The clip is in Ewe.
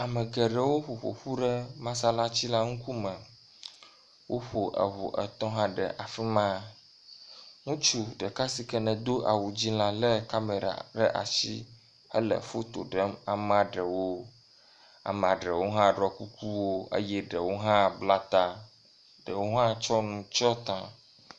Ame geɖewo ƒoƒoƒu ɖe masalatsi la ŋkume. Woƒo eŋu etɔ̃ hã le afi ma. Ŋutsu ɖeka si nedo awu dzɛ̃ la le kamera ɖe ashi hele foto ɖem amea aɖewo. Amea aɖewo hã ɖɔ kukuwo eye ɖewo hã bla ta, ɖewo hã tsɔ nu tsɔ ta.